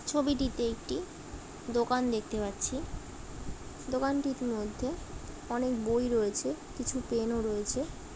ছবিটিতে একটি দোকান দেখতে পাচ্ছি দোকানটির মধ্যে অনেক বই রয়েছে কিছু পেন -ও রয়েছে।